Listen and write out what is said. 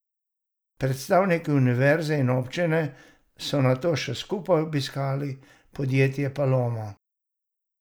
Predstavniki univerze in občine so nato še skupaj obiskali podjetje Paloma.